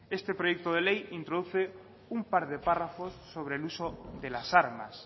este proyecto de ley introduce un par de párrafos sobre el uso de las armas